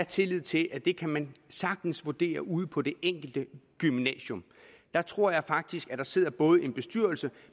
tillid til at det kan man sagtens vurdere ude på det enkelte gymnasium der tror jeg faktisk at der sidder både en bestyrelse